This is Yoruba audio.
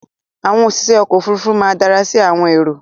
Àwọn òṣìṣẹ́ ọkọ̀ Òfurufú náà dára sí àwọn èrò